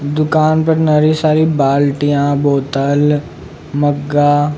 दुकान पर नरी सारी बाल्टीया बोतल मग्गा --